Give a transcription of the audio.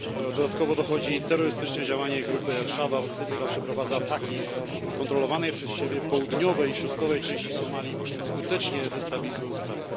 Do tego dochodzi terrorystyczne działanie grupy Asz Szabab, która przeprowadza ataki w kontrolowanej przez siebie południowej i środkowej części Somalii, skutecznie destabilizując kraj.